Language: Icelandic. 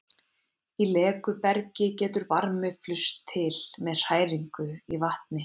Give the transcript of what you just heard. Í leku bergi getur varmi flust til með hræringu í vatni.